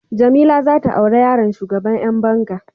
Jamila zata aure yaron shugaban Yan banga.